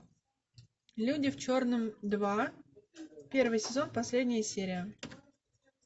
люди в черном два первый сезон последняя серия